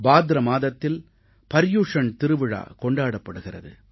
பாத்ர மாதத்தில் பர்யுஷண் திருவிழா கொண்டாடப்படுகிறது